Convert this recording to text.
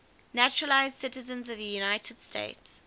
naturalized citizens of the united states